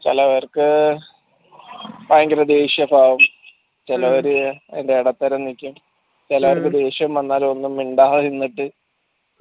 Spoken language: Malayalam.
ചെലവർക്ക് ഭയങ്കര ദേഷ്യ ഭാവം ചെലവര് എടത്തരം നിക്കും ചെലവർക്ക്‌ ദേഷ്യം വന്നാൽ ഒന്നും മിണ്ടാതെ നിന്നിട്ട്